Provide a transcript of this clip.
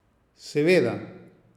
Seveda.